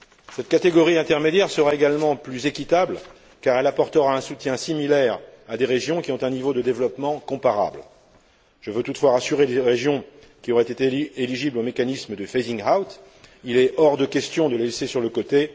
Cette catégorie intermédiaire sera également plus équitable car elle apportera un soutien similaire à des régions qui ont un niveau de développement comparable. Je veux toutefois rassurer les régions qui auraient été éligibles au mécanisme de phasing out il est hors de question de les laisser sur le côté.